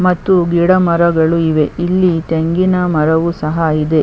ಮತ್ತು ಗಿಡ ಮರಗಳು ಇವೆ ಇಲ್ಲಿ ತೆಂಗಿನ ಮರವು ಸಹ ಇದೆ .